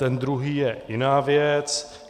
Ten druhý je jiná věc.